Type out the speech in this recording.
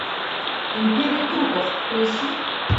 империя трупов поищи